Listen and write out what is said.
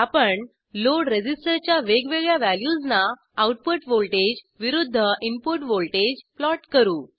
आपण load resistor च्या वेगवेगळ्या वॅल्यूजना आऊटपुट व्हॉल्टेज विरूद्ध इनपुट व्हॉल्टेज प्लॉट करू